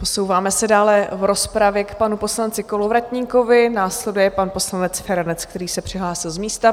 Posouváme se dále v rozpravě k panu poslanci Kolovratníkovi, následuje pan poslanec Feranec, který se přihlásil z místa.